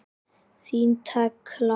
Þín Tekla.